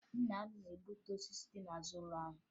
Nna m na-egbutu osisi dị n'azụ ụlọ anyị